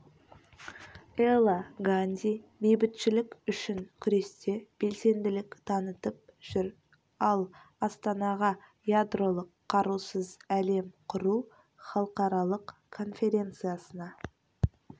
эла ганди бейбітшілік үшін күресте белсенділік танытып жүр ал астанаға ядролық қарусыз әлем құру халықаралық конференциясына